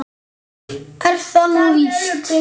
Er það nú víst ?